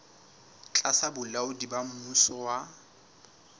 tlasa bolaodi ba mmuso wa